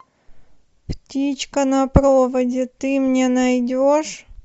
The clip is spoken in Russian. птичка на проводе ты мне найдешь